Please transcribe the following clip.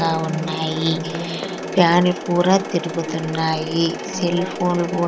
--గా ఉన్నాయి ఫ్యాన్లు కూడా తిరుగుతున్నాయి సెల్ ఫోన్లు కు--